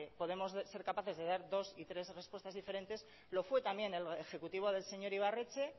podemos ser capaces de dar dos y tres respuestas diferentes lo fue también el ejecutivo del señor ibarretxe